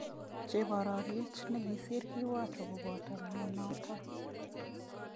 Chebororet nikisir kiwato koboto myanotok.